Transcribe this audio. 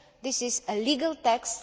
This is a legal text